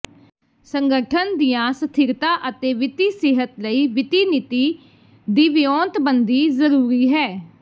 ਸੰਗਠਨ ਦੀਆਂ ਸਥਿਰਤਾ ਅਤੇ ਵਿੱਤੀ ਸਿਹਤ ਲਈ ਵਿੱਤੀ ਨੀਤੀ ਦੀ ਵਿਉਂਤਬੰਦੀ ਜ਼ਰੂਰੀ ਹੈ